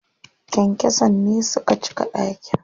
Kyankyason ne suka cika ɗakin.